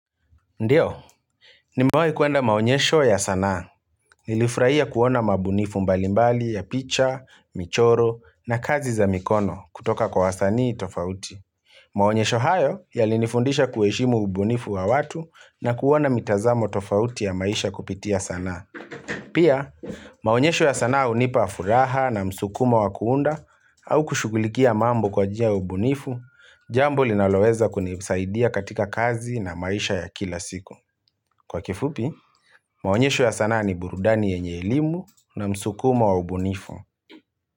Ndiyo, nimewahi kuenda maonyesho ya sanaa. Nilifurahia kuona mabunifu mbalimbali ya picha, michoro na kazi za mikono kutoka kwa wasanii tofauti. Maonyesho hayo yali nifundisha kuheshimu ubunifu wa watu na kuona mitazamo tofauti ya maisha kupitia sanaa. Pia, maonyesho ya sanaa hunipa furaha na msukumo wakuunda au kushughulikia mambo kwa njia ya ubunifu, jambo linaloweza kunisaidia katika kazi na maisha ya kila siku. Kwa kifupi, maonyesho ya sana ni burudani yenye elimu na msukumo wa ubunifu.